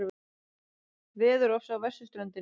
Veðurofsi á vesturströndinni